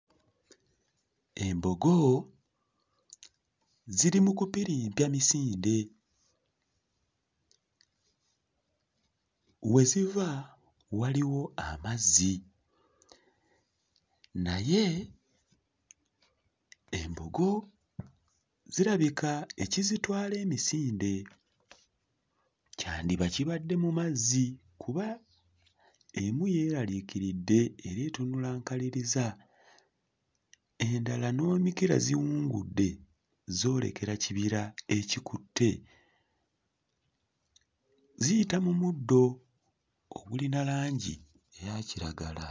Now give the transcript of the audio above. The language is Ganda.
Embogo ziri mu kupirimpya misinde. We ziva waliwo amazzi naye embogo zirabika ekizitwala emisinde kyandiba kibadde mu mazzi kuba emu yeerariikiridde era etunula nkaliriza, endala n'emikira ziwungudde zoolekera kibira ekikutte, ziyita mu muddo ogulina langi eya kiragala.